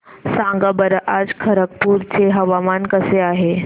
सांगा बरं आज खरगपूर चे हवामान कसे आहे